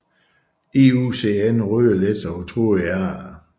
IUCN røde liste over truede arter